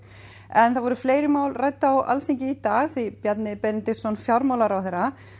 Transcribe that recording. en það voru fleiri mál rædd á Alþingi í dag því fjármálaráðherra